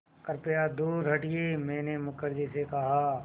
कृपया दूर हटिये मैंने मुखर्जी से कहा